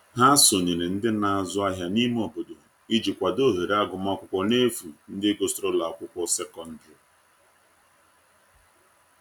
Ha sonyere ndi n'azu ahia n'ime obodo iji kwado ohere agụma akwụkwo n'efu ndi gusiri ụlọ akwụkwo sekọndrị